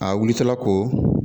A wilitɔla ko